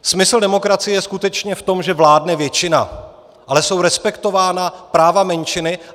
Smysl demokracie je skutečně v tom, že vládne většina, ale jsou respektována práva menšiny.